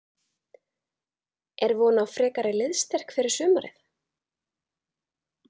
Er von á frekari liðsstyrk fyrir sumarið?